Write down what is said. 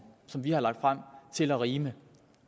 som vi har lagt frem til at rime